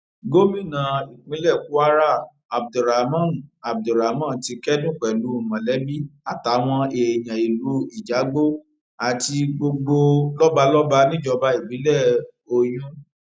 gomina ìpínlẹ kwara abdulrahman abdulrahman ti kẹdùn pẹlú mọlẹbí àtàwọn èèyàn ìlú ìjàgbó àti gbogbo lọbalọba níjọba ìbílẹ oyún